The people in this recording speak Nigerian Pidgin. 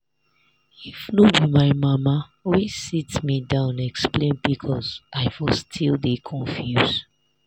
if no be my mama wey sit me down explain pcos i for still dey confuse.